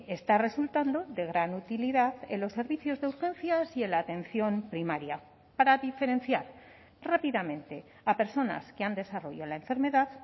está resultando de gran utilidad en los servicios de urgencias y en la atención primaria para diferenciar rápidamente a personas que han desarrollo la enfermedad